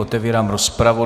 Otevírám rozpravu.